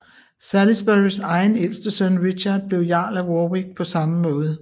Salisburys egen ældste søn Richard blev jarl af Warwick på samme måde